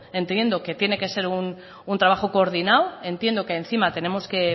entendiendo que tiene que ser un trabajo coordinado entiendo que encima tenemos que